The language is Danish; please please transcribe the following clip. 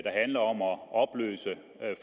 handler om at opløse